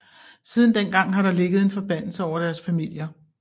Siden dengang har der ligget en forbandelse over deres familier